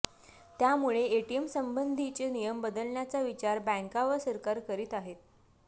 त्यामुळे एटीएमसंबंधीचे नियम बदलण्याचा विचार बँका व सरकार करीत आहे